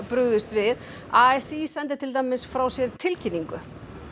brugðist við a s í sendi til dæmis frá sér tilkynningu